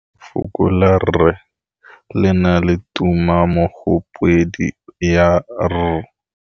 Lefoko la rre, le na le tumammogôpedi ya, r.